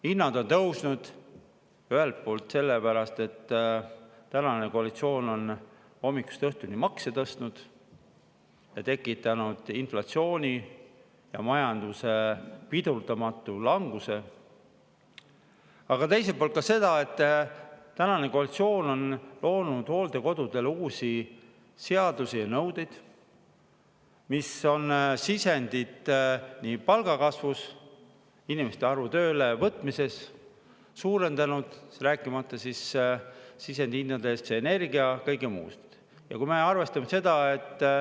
Hinnad on tõusnud, ühelt poolt selle pärast, et tänane koalitsioon on hommikust õhtuni makse tõstnud ning tekitanud inflatsiooni ja majanduse pidurdamatu languse, aga teiselt poolt selle pärast, et tänane koalitsioon on loonud hooldekodusid puudutavaid uusi seadusi ja nõudeid, mis on sisendiks palgakasvus, on suurendanud inimeste arvu, kes on tööle võetud, rääkimata sisendhindadest energias ja kõigest muust.